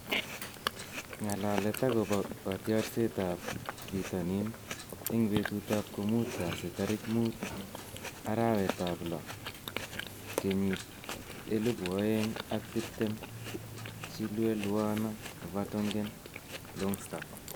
Ng'alalet akobo kotiorsetab bitonin eng betutab komuut kasi tarik muut, arawetab lo, kenyitab elebu oeng ak tiptem:Chilwell, Werner, Vertonghen, Longstaff